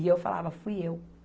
E eu falava, fui eu.